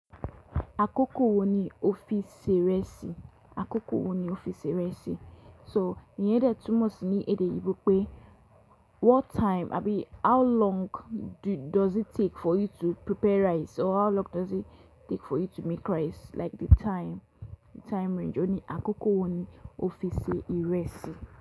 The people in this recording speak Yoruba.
Akókò wo ni o fi se ìrẹsì? Akókò wo ni o fi se ìrẹsì? So, ìyẹn jẹ́ túmọ̀ sí ní èdè òyìnbò pé what time abi how long do-does it take for you to prepare rice or how long does it take for you to make rice like the time, the time range òní akókò wo ni o fi ṣe ìrẹsì.